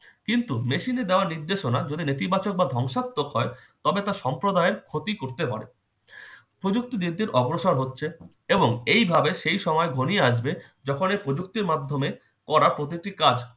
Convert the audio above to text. কিন্তু machine এ দেওয়া নির্দেশনা যদি নেতিবাচক বা ধ্বংসাত্মক হয় তবে তা সম্প্রদায়ের ক্ষতি করতে পারে। প্রযুক্তি দিন দিন অগ্রসর হচ্ছে এবং এইভাবে সেই সময় ঘনিয়ে আসবে যখনই প্রযুক্তির মাধ্যমে করা প্রতিটি কাজ